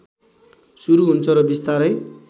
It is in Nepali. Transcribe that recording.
सुरु हुन्छ र बिस्तारै